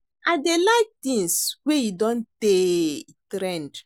I dey like things wey e don tey e trend